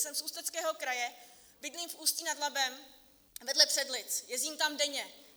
Jsem z Ústeckého kraje, bydlím v Ústí nad Labem vedle Předlic, jezdím tam denně.